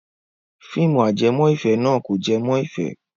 Fíìmù ajẹmọ́-ìfẹ́ náà kò jẹ mọ́ ìfẹ́.